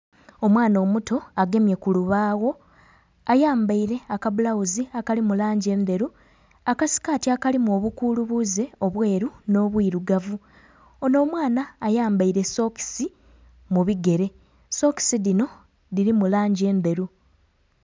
Omwana omuto agemye kulubaagho ayambaire akadhozi akali mulangi endheru, akasikati akalimu obukulubuze obweru n'obwirugavu. Ono omwana ayambaire sokisi mubigere, sokisi dhino dhirimu langi endheru.